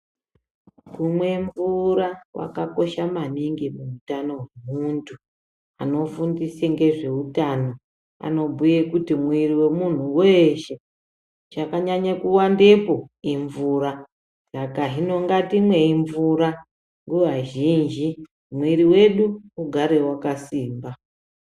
Kumwe mvura kwakakosha maningi muutano hwemuntu. Anofundise ngezveutano anobhuye kuti mwiiri wemunhu weeshe, chakanyanye kuwandepo imvura. Saka hino ngatimwei mvura nguva zhinji mwiiri wedu ugare wakasimba.